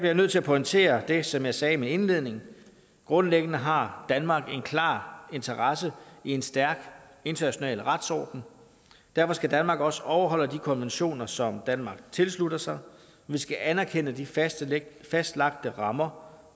jeg nødt til at pointere det som jeg sagde i min indledning grundlæggende har danmark en klar interesse i en stærk international retsorden derfor skal danmark også overholde de konventioner som danmark tilslutter sig vi skal anerkende de fastlagte fastlagte rammer